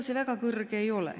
See väga kõrge ei ole.